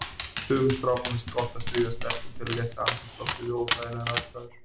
Sumum strákum finnst gott að stríða stelpum til að létta andrúmsloftið við óþægilegar aðstæður.